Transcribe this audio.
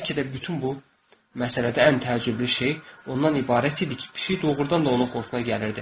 Bəlkə də bütün bu məsələdə ən təəccüblü şey ondan ibarət idi ki, pişik doğurdan da onun xoşuna gəlirdi.